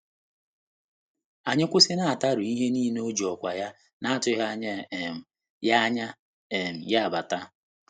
Anyị kwụsịnataru ihe niile mgbe o ji ọkwa ya na-atụghị anya um ya anya um ya bata